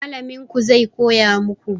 Mallamin ku zai koya maku